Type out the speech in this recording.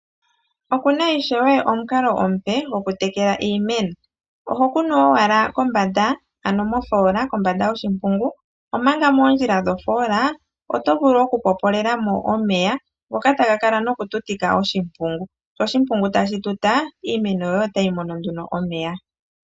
Okuna ishewe omukalo omupe gokutekela iimeno. Oho kunu owala kombanda ano mofola kombanda yoshimpungu omanga moondjila dhoofola oto vulu okutopolela mo omeya ngoka taga kala nokututika oshimpungu , sho oshimpungu tashi tuta yo iimeno yoye otayi mono nduno omeya.